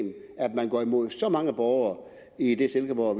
man går imod så mange borgere i det silkeborg